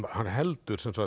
hann heldur